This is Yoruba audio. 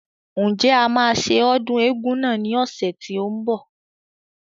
Ǹjẹ́ a máa ṣe ọdún eégún náà ní ọ̀sẹ̀ tí ó ń bọ̀